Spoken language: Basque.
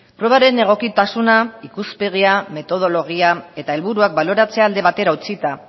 probaren egokitasuna ikuspegia metodologia eta helburuak baloratzea alde batera utzita